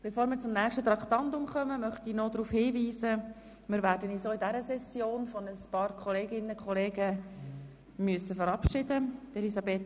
Bevor wir zum nächsten Traktandum kommen, möchte ich noch darauf hinweisen, dass wir uns auch in dieser Session von einigen Kolleginnen und Kollegen verabschieden müssen: